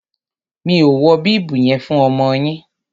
Mi ò wọ bíbù yen fún ọmọ yin